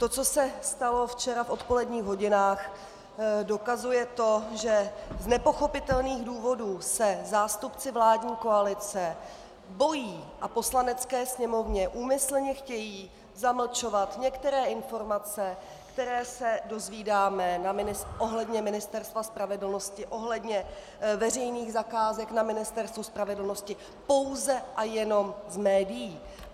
To, co se stalo včera v odpoledních hodinách, dokazuje to, že z nepochopitelných důvodů se zástupci vládní koalice bojí a Poslanecké sněmovně úmyslně chtějí zamlčovat některé informace, které se dozvídáme ohledně Ministerstva spravedlnosti, ohledně veřejných zakázek na Ministerstvu spravedlnosti, pouze a jenom z médií.